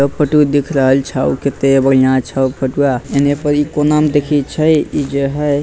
ए photo दिख रहल छौ केते बढ़िया छौ फोटुआ एने पड़ी कोना में देखई छई ई जो हई --